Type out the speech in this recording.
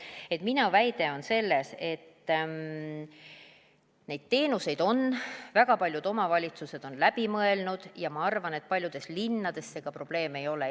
Et minu väide on, et neid teenuseid on väga paljud omavalitsused läbi mõelnud, ja ma arvan, et paljudes linnades see ka probleem ei ole.